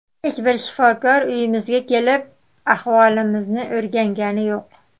Hech bir shifokor uyimizga kelib, ahvolimizni o‘rgangani yo‘q.